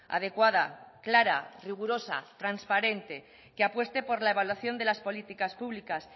adecuada clara rigurosa transparente que apueste por la evaluación de las políticas públicas